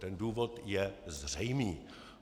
Ten důvod je zřejmý.